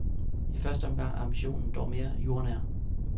I første omgang er ambitionen dog mere jordnær.